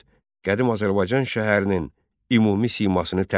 Qədim Azərbaycan şəhərinin ümumi simasını təsvir et.